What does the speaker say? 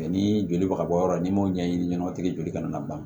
ni joli bɛ ka bɔ yɔrɔ n'i m'o ɲɛɲini ɲɛnamatigi joli kana bila